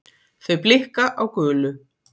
Þau blikka á gulu